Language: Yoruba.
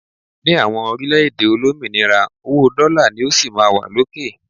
ní àwọn orílẹ̀-èdè olómìnira, owó dola ni ó sí ma wa lókè